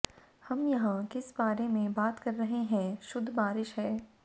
हम यहां किस बारे में बात कर रहे हैं शुद्ध बारिश है